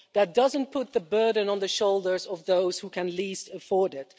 that doesn't put the burden on the shoulders of those who can least afford it